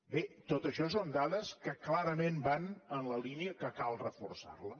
bé tot això són dades que clarament van en la línia que cal reforçar les